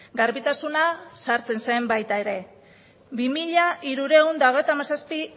garbitasuna sartzen zen baita ere bi mila hirurehun eta hogeita hamazazpi